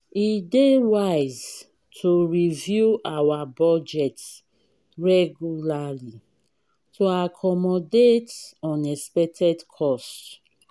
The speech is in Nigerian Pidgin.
e dey wise to review our budget regularly to accommodate unexpected costs.